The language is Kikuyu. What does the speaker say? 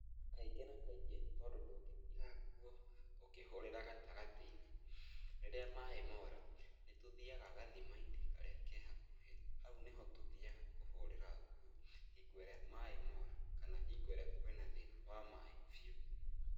Kaingĩ na kaingĩ tondũ ndũngĩtiga nguo ũkĩhũrĩra gatagatĩ-inĩ, rĩrĩa maĩ mora, nĩtũthiaga gathima-inĩ karĩa ke hakuhĩ, hau nĩho tũthiaga kũhũrĩra nguo hingo ĩrĩa maĩ mora, kana hingo ĩrĩa kwĩna thĩna wa maĩ biũ.